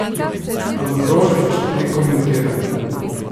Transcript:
Ambrožič ne komentira.